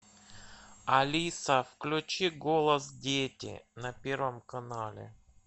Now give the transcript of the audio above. алиса включи голос дети на первом канале